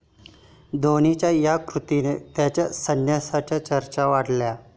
धोनीच्या 'या' कृतीने त्याच्या संन्यासाच्या चर्चा वाढल्या